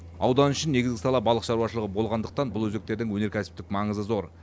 аудан үшін негізгі сала балық шаруашылығы болғандықтан бұл өзектердің өнеркәсіптік маңызы зор